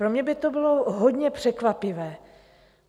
Pro mě by to bylo hodně překvapivé.